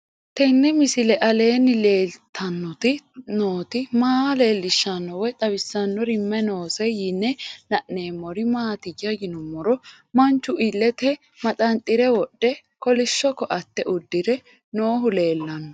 Tenni misile aleenni leelittanni nootti maa leelishshanno woy xawisannori may noosse yinne la'neemmori maattiya yinummoro manchu ileette maxanixire wodhe kolishsho kootte udirre noohu leelanno